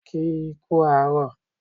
Kì í kú àárọ̀